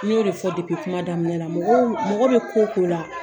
N y'o de fɔ kuma daminɛ la, mɔgɔ mɔgɔ bɛ ko ko la